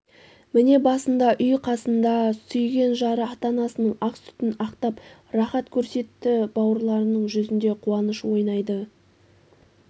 міне басында үй қасында сүйген жары ата-анасының ақ сүтін ақтап рахат көрсетті бауырларының жүзнде қуаныш ойнайды